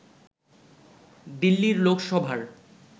দিল্লির লোকসভার